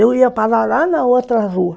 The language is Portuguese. Eu ia parar lá na outra rua.